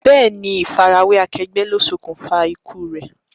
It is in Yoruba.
Bẹ́ẹ̀ni, ifa ara we akegbe lo ṣokunfa ikú re.